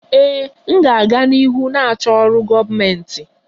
Ee, m ga-aga n'ihu na-achọ ọrụ gọọmentị.